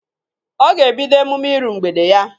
Ọ ga ebido emume ịru mgbede ya.